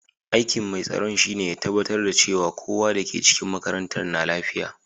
Aiki'n mai tsaron shine ya tabatar cewa kowa da ke cikin makarantan na lafiya.